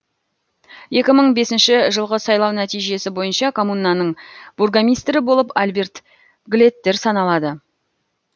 екі мың бесінші жылғы сайлау нәтижесі бойынша коммунаның бургомистрі болып альберт глеттер саналады